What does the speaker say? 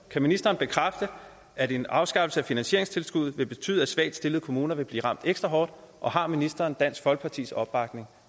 kan ministeren bekræfte at en afskaffelse af finansieringstilskuddet vil betyde at svagt stillede kommuner vil blive ramt ekstra hårdt og har ministeren dansk folkepartis opbakning